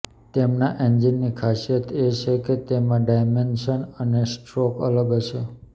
તેના એન્જિનની ખાસિયત એ છે કે તેમાં ડાયમેન્શન અને સ્ટ્રોક્સ અલગ હશે